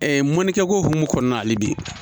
mɔnikɛko hukumu kɔnɔna na hali bi